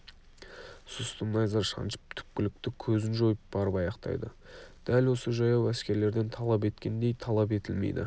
сұсты найза шаншып түпкілікті көзін жойып барып аяқтайды дәл осы жаяу әскерлерден талап еткендей талап етілмейді